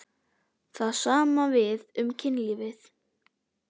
Það sama á við um kynlífið.